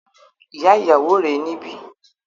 Ìyá ìyàwó rè é níbí